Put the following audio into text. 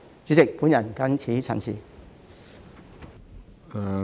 主席，我謹此陳辭。